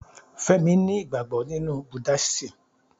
Fẹ́mi ni ìgbàgbọ́ nínú buddasim